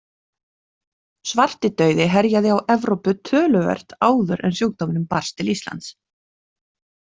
Svartidauði herjaði á Evrópu töluvert áður en sjúkdómurinn barst til Íslands.